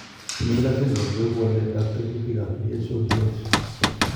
Miller syndrome koibu waletab tekutikab DHODH .